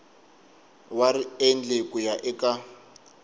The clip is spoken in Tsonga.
wa riendli ku ya eka